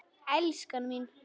Elskan mín.